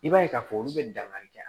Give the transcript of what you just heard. I b'a ye k'a fɔ olu bɛ dankari kɛ